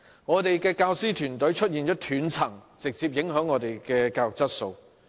我們的教師團隊出現了斷層，直接影響教育質素。